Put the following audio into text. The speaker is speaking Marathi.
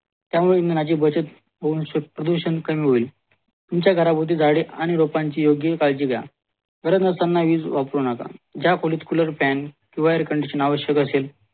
त्यामुळे इंधनाची प्रदूषण कमी होईल तुमच्या घराभवती झाडे आणि लोकांची योग्य काळजी घ्या गरज नसताना वीज वापरू नका ज्या खोलीत cooler, fan, air condition आवश्यक असेल